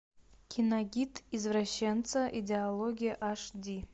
киногид извращенца идеология аш ди